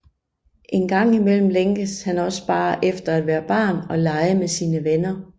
Engang imellem længes han også bare efter at være barn og lege med sine venner